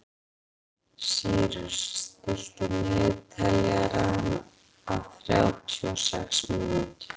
Sýrus, stilltu niðurteljara á þrjátíu og sex mínútur.